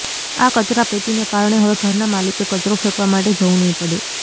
આ કચરાપેટીને કારણે હવે ઘરના માલિકે કચરો ફેંકવા માટે જવું નહીં પડે